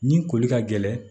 Ni koli ka gɛlɛn